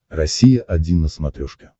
россия один на смотрешке